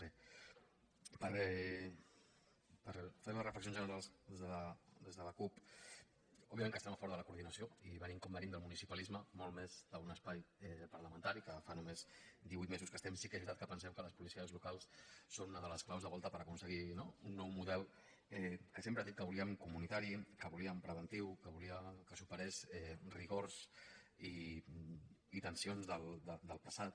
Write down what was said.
per fer les reflexions generals des de la cup òbviament que estem a favor de la coordinació i venint com venim del municipalisme molt més que d’un espai parlamentari que fa només divuit mesos que hi estem sí que és veritat que pensem que les policies locals són una de les claus de volta per aconseguir no un nou model que sempre hem dit que volíem comunitari que volíem preventiu que volíem que superés rigors i tensions del passat